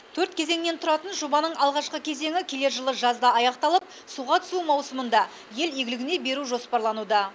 төрт кезеңнен тұратын жобаның алғашқы кезеңі келер жылы жазда аяқталып суға түсу маусымында ел игілігіне беру жоспарлануда